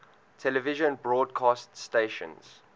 television broadcast stations